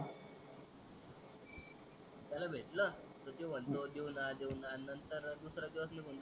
त्याला भेटल तर तोय म्हणतो देऊणा देऊणा नंतर दूसरा दिवस निगुण जातो